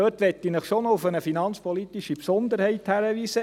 Dort möchte ich Sie doch noch auf eine finanzpolitische Besonderheit hinweisen.